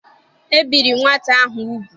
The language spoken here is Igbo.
E biri nwata ahụ ugwu.